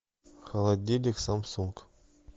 холодильник самсунг